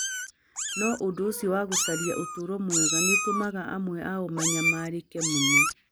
No ũndũ ũcio wa gũcaria ũtũũro mwega nĩ ũtũmaga amwe ao manyamarĩke mũno.